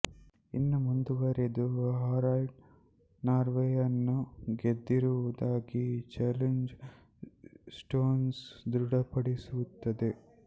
ಇನ್ನೂ ಮುಂದುವರೆದು ಹಾರಾಲ್ಡ್ ನಾರ್ವೆಯನ್ನೂ ಗೆದ್ದಿರುವುದಾಗಿ ಜೆಲ್ಲಿಂಗ್ ಸ್ಟೋನ್ಸ್ ದೃಢಪಡಿಸುತ್ತದೆ